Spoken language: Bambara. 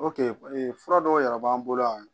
ee fura dɔw yɛrɛ b'an bolo yan